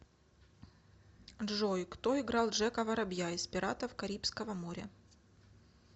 джой кто играл джека воробья из пиратов карибского моря